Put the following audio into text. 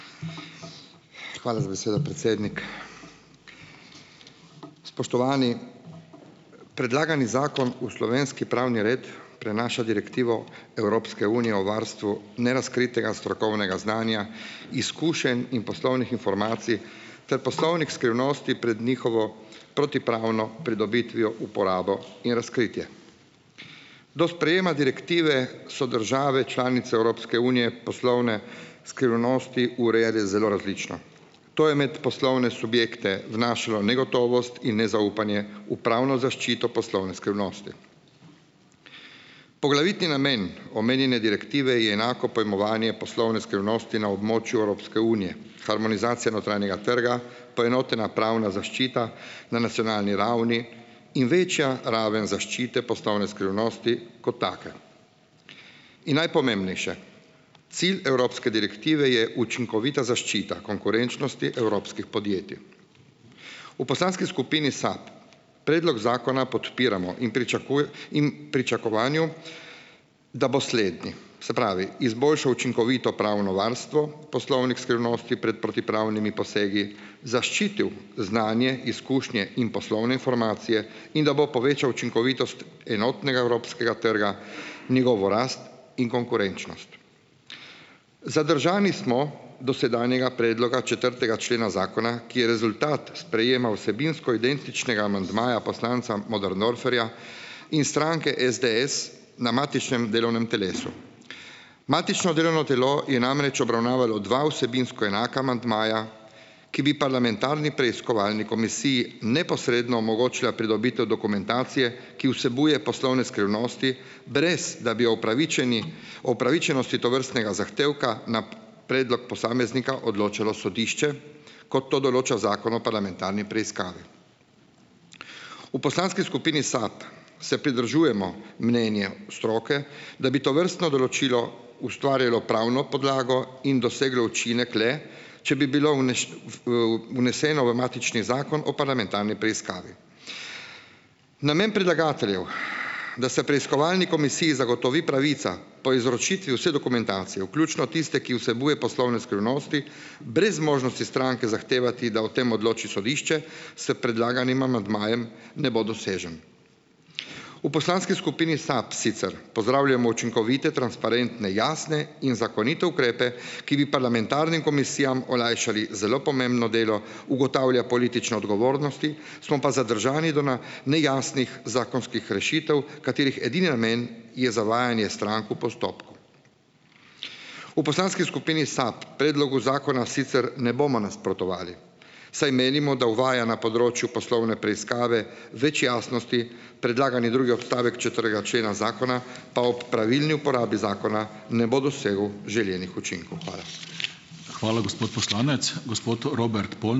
Hvala za besedo, predsednik. Spoštovani! Predlagani zakon v slovenski pravni red prenaša direktivo Evropske unije o varstvu nerazkritega strokovnega znanja, izkušenj in poslovnih informacij ter poslovnih skrivnosti pred njihovo protipravno pridobitvijo, uporabo in razkritje. Do sprejema direktive so države članice Evropske unije poslovne skrivnosti urejale zelo različno. To je med poslovne subjekte vnašalo negotovost in nezaupanje v pravno zaščito poslovne skrivnosti. Poglavitni namen omenjene direktive je enako pojmovanje poslovne skrivnosti na območju Evropske unije. Harmonizacija notranjega trga, poenotena pravna zaščita na nacionalni ravni in večja raven zaščite poslovne skrivnosti kot take. In najpomembnejše, cilj evropske direktive je učinkovita zaščita konkurenčnosti evropskih podjetij. V poslanski skupini SAB predlog zakona podpiramo in in pričakovanju, da bo slednji, se pravi, izboljšal učinkovito pravno varstvo poslovnih skrivnosti pred protipravnimi posegi, zaščitil znanje, izkušnje in poslovne informacije in da bo povečal učinkovitost enotnega evropskega trga, njegovo rast in konkurenčnost. Zadržani smo do sedanjega predloga četrtega člena zakona, ki je rezultat sprejema vsebinsko identičnega amandmaja poslanca Möderndorferja in stranke SDS na matičnem delovnem telesu. Matično delovno telo je namreč obravnavalo dva vsebinsko enaka amandmaja, ki bi parlamentarni preiskovalni komisiji neposredno omogočila pridobitev dokumentacije, ki vsebuje poslovne skrivnosti, brez da bi opravičeni opravičenosti tovrstnega zahtevka na predlog posameznika odločalo sodišče, kot to določa zakon o parlamentarni preiskavi. V poslanski skupini SAB se pridržujemo mnenju stroke, da bi tovrstno določilo ustvarjalo pravno podlago in doseglo učinek le, če bi bilo vneseno v matični zakon o parlamentarni preiskavi. Namen predlagateljev, da se preiskovalni komisiji zagotovi pravica po izročitvi vse dokumentacije, vključno tiste, ki vsebuje poslovne skrivnosti, brez možnosti stranke zahtevati, da o tem odloči sodišče s predlaganim amandmajem, ne bo dosežen. V poslanski skupini SAB sicer pozdravljamo učinkovite, transparentne, jasne in zakonite ukrepe, ki bi parlamentarnim komisijam olajšali zelo pomembno delo, ugotavlja politične odgovornosti, smo pa zadržani do nejasnih zakonskih rešitev, katerih edini namen je zavajanje strank v postopku. V poslanski skupini SAB predlogu zakonu sicer ne bomo nasprotovali, saj menimo, da uvaja na področju poslovne preiskave več jasnosti. Predlagani drugi odstavek četrtega člena zakona pa ob pravilni uporabi zakona ne bo dosegel želenih učinkov. Hvala.